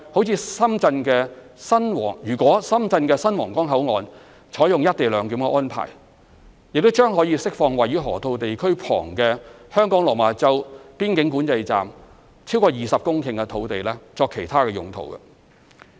此外，如深圳的新皇崗口岸採用"一地兩檢"安排，將可釋放位於河套地區旁的香港落馬洲邊境管制站超過20公頃土地作其他用途。